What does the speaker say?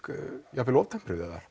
jafn vel of tempruð eða